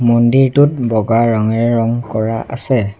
মন্দিৰটোত বগা ৰঙেৰে ৰং কৰা আছে।